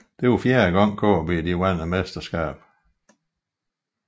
Det var fjerde gang KB vandt mesterskabet